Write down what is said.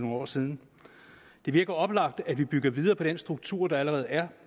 år siden det virker oplagt at vi bygger videre på den struktur der allerede er